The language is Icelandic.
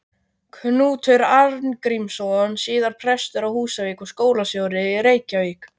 Knútur Arngrímsson, síðar prestur á Húsavík og skólastjóri í Reykjavík.